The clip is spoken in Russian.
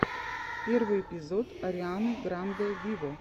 первый эпизод арианы гранде виво